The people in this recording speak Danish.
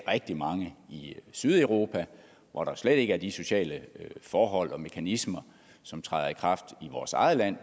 rigtig mange i sydeuropa hvor der slet ikke er de sociale forhold og mekanismer som træder i kraft i vores eget land